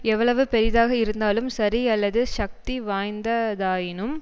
எவ்வளவு பெரியதாக இருந்தாலும் சரி அல்லது சக்தி வாய்ந்ததாயினும்